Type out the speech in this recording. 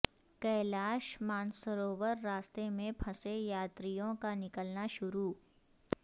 کیلاش مانسروور راستے میں پھنسے یاتریوں کا نکلنا شروع